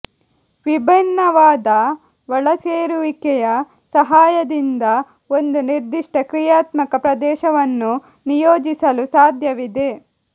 ವಿಭಿನ್ನವಾದ ಒಳಸೇರಿಸುವಿಕೆಯ ಸಹಾಯದಿಂದ ಒಂದು ನಿರ್ದಿಷ್ಟ ಕ್ರಿಯಾತ್ಮಕ ಪ್ರದೇಶವನ್ನು ನಿಯೋಜಿಸಲು ಸಾಧ್ಯವಿದೆ